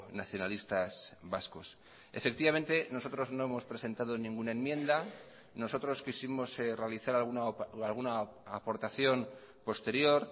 nacionalistas vascos efectivamente nosotros no hemos presentado ninguna enmienda nosotros quisimos realizar alguna aportación posterior